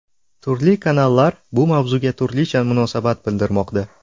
Turli kanallar bu mavzuga turlicha munosabat bildirmoqda.